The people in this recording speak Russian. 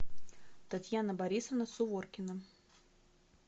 татьяна борисовна суворкина